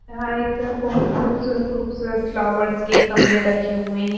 यहां एक बहुत खूबसूरत खूबसूरत फ्लावर्स के गमले रखी हुए हैं।